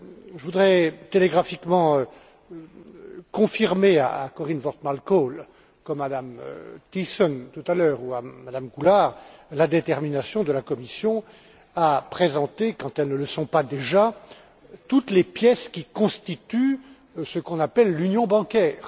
Je voudrais, télégraphiquement, confirmer à Corien Wortmann Kool, comme à Mme Thyssen, tout à l'heure, ou à Mme Goulard, la détermination de la Commission à présenter, quand elles ne le sont pas déjà, toutes les pièces qui constituent ce que l'on appelle l'union bancaire.